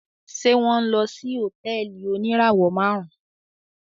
Ṣe wọn nlọ sí hotẹẹli onirawọ márún?